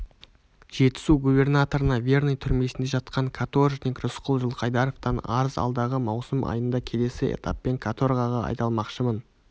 жетісу губернаторына верный түрмесінде жатқан каторжник рысқұл жылқайдаровтан арыз алдағы маусым айында келесі этаппен каторгаға айдалмақшымын